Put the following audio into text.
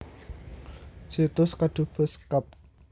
Situs Kedubes Kep